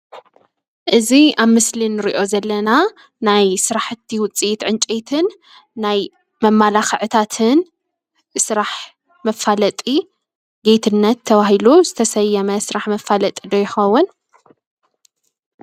እዚ ኣብ ምስሊ ንሪኦ ዘለና ናይ ስራሓቲ ውፅኢት ዕንጨይትን ናይ መመላክዕታትን ንስራሕ መፋለጢ ጌትነት ተበሂሉ ዝተሰየመ ስራሕ መፍለጢ ይከውን::